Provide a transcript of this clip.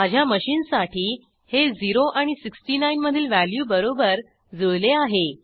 माझ्या मशीनसाठी हे 0 आणि 69 मधील व्हॅल्यूबरोबर जुळले आहे